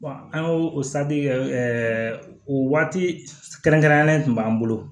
an y'o o kɛ o waati kɛrɛnkɛrɛnnen tun b'an bolo